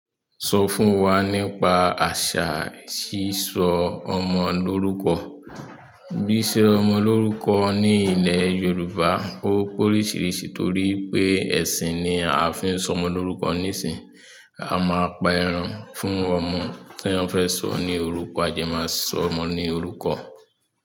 Sọ fún wa nípa àṣà s'isọ ọmọ lórúkọ. Bísí ọmọ lórúkọ ní ilẹ̀ Yorùbá ó pe oríṣiríṣi torí pé ẹ̀sìn ni a fi ń sọ ọmọ lórúkọ nísinyìí. A máa pa ẹran fún ọmọ tí wọ́n fẹ́ sọ ní orúkọ, àdẹ́, máa sọ ọmọ ní orúkọ.